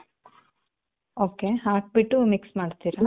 ok. ಹಾಕ್ಬಿಟ್ಟು mix ಮಾಡ್ತೀರ?